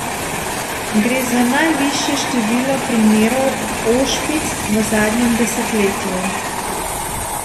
Gre za najvišje število primerov ošpic v zadnjem desetletju.